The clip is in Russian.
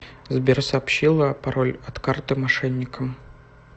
сбер сообщила пароль от карты мошенникам